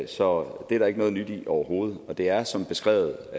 så det er der ikke noget nyt i overhovedet og det er som beskrevet